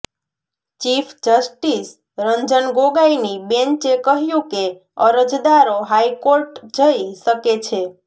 chief justice Ranjan ગોગાઈની બેન્ચે કહ્યું કે અરજદારો હાઈકોર્ટજઈ શકે છે